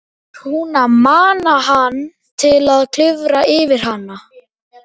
Var hún að mana hann til að klifra yfir hana?